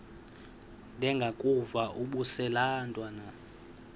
ndengakuvaubuse laa ntwana